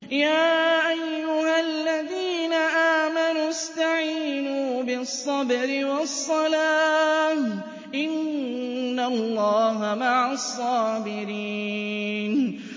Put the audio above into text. يَا أَيُّهَا الَّذِينَ آمَنُوا اسْتَعِينُوا بِالصَّبْرِ وَالصَّلَاةِ ۚ إِنَّ اللَّهَ مَعَ الصَّابِرِينَ